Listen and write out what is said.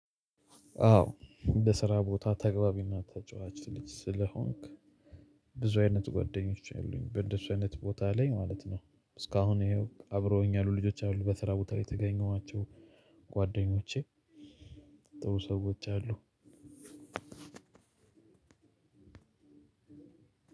አዎ በስራ ቦታ ተግባቢና ተጫዋች ልጅ ስለሆንክ ብዙ አይነት ጓደኞች አሉኝ በእንደሱ አይነት ቦታ ላይ ማለት ነው። እስካሁን ይኸው አብረውኝ ያሉ ልጆች አሉ በስራ ቦታ ላይ የተገኙ ናቸው። ጓደኞቼ ጥሩ ሰዎች አሉ።